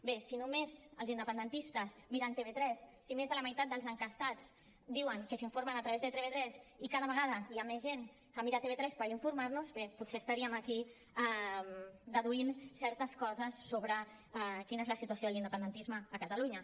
bé si només els independentistes miren tv3 si més de la meitat dels enquestats diuen que s’informen a través de tv3 i cada vegada hi ha més gent que mira tv3 per informar se bé potser estaríem aquí deduint certes coses sobre quina és la situació de l’independentisme a catalunya